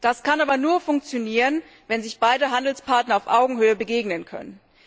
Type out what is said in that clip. Das kann aber nur funktionieren, wenn sich beide Handelspartner auf Augenhöhe begegnen können.